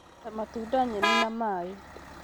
ta matunda, nyeni, na maĩ